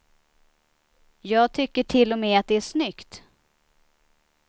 Jag tycker till och med att det är snyggt.